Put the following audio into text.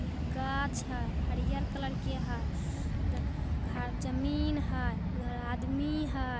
गाछ है हरियर कलर के है ड घ जमीन है उधर आदमी है।